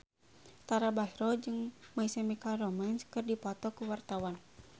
Tara Basro jeung My Chemical Romance keur dipoto ku wartawan